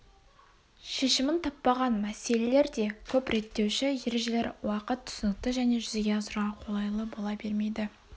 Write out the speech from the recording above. шешімін таппаған мәселелер де көп реттеуші ережелер уақыт түсінікті және жүзеге асыруға қолайлы бола бермейді